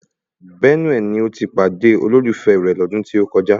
Bẹ́núè ni ó ti pàdé olólùfẹ́ rẹ̀ lọ́dún tí ó kọjá